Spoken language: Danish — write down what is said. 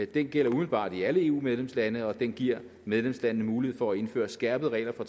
den gælder umiddelbart i alle eu medlemslande og den giver medlemslandene mulighed for at indføre skærpede regler for